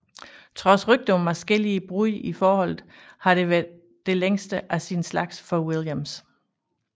Trods rygter om adskillige brud i forholdet har det været det længste af sin slags for Williams